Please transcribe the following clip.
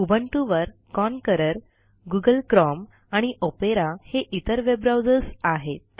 Ubuntu वर Konqueror Google Chrome आणि Opera हे इतर वेबब्राऊजर्स आहेत